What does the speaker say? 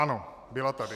Ano, byla tady.